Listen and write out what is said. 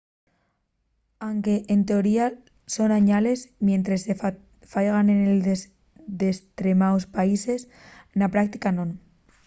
anque en teoría son añales mientres se faigan en destremaos países na práctica non